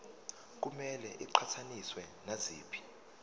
kumele iqhathaniswe naziphi